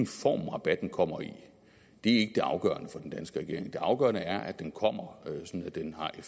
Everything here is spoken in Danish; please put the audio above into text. form rabatten kommer i det afgørende er at den kommer så den har en